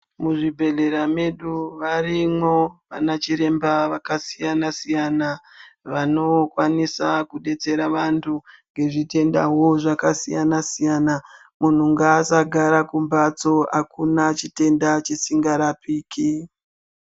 Muzvibhedhlera mwedu varimwo ana chiremba vakasiyana siyana vanokwanisa kudetsera vanthu ngezvitendao zvakasiyana siyana munhu ngaasagara kumbatso akuna chitenda chisingarapiki.